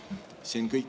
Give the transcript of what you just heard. See on kõik.